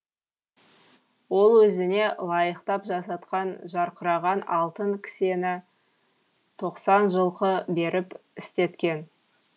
ол өзіне лайықтап жасатқан жарқыраған алтын кісені тоқсан жылқы беріп істеткен